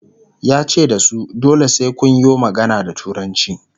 yace da su "dole sai Kun yo magana da turanci"